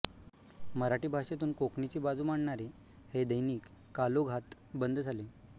मराठी भाषेतून कोंकणीची बाजू मांडणारे हे दैनिक कालौघात बंद झाले